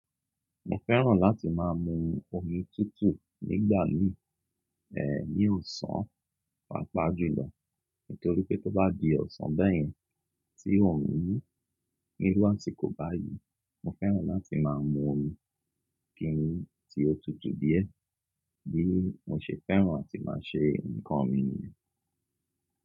Mo fẹ́ràn láti má a mu omi tútù nígbà mìí, e, ní ọ̀sán, pàápàá jùlọ. Nítorí pé tó bá di ọ̀sán bẹ́ẹ̀ yẹn, tí òrún mú ní irú àsìkò báyíi, mo fẹ́ràn láti má a mu omi kiní tí ó tutù díẹ̀ bí mo ṣe fẹ́ràn láti má a ṣe nǹkan mi nìyẹn.